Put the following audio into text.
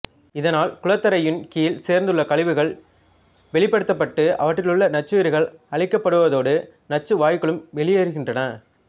இதனால் குளத்தரையின் கீழ் சேர்ந்துள்ள கழிவுகள் வெளிப்படுத்தப்பட்டு அவற்றிலுள்ள நச்சுயிரிகள் அழிக்கப்படுவதோடு நச்சு வாயுக்களும் வெளியேறுகின்றன